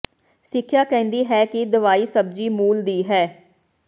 ਸਿੱਖਿਆ ਕਹਿੰਦੀ ਹੈ ਕਿ ਦਵਾਈ ਸਬਜ਼ੀ ਮੂਲ ਦੀ ਹੈ